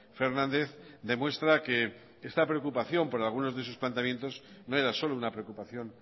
fernández demuestra que esta preocupación por algunos de sus planteamientos no era solo una preocupación